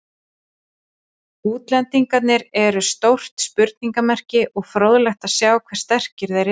Útlendingarnir eru stórt spurningamerki og fróðlegt að sjá hve sterkir þeir eru.